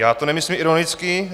Já to nemyslím ironicky.